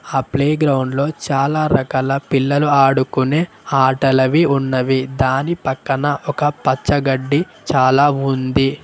ఆ ప్లే గ్రౌండ్లో చాలా రకాల పిల్లలు ఆడుకుని ఆటలవి ఉన్నవి దాని పక్కన ఒక పచ్చ గడ్డి చాలా ఉంది.